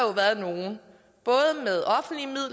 været nogle